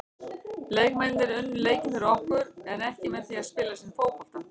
Leikmennirnir unnu leikinn fyrir okkur en ekki með því að spila sinn fótbolta.